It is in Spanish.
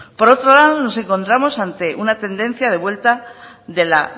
por otro lado nos encontramos ante una tendencia de vuelta de la